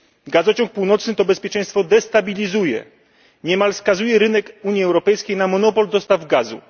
Gazociąg Północny to bezpieczeństwo destabilizuje, niemal skazuje rynek Unii Europejskiej na monopol dostaw gazu.